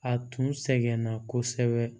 A tun sɛgɛnna kosɛbɛ